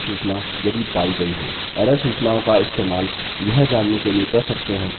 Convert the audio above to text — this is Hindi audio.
एरर सूचनाओं का इस्तेमाल यह जानने के लिए कर सकते हैं कि वह पायी गयी हैं या नहीं